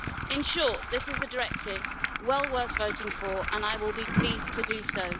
In short, this is a directive well worth voting for and I will be pleased to do so.